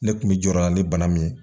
Ne kun bi jɔyɔrɔ na ni bana min ye